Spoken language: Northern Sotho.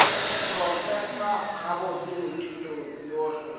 prof gabotse moithuti yo re